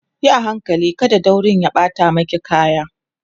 Yi a hankali kada daurin ya ɓata maki kaya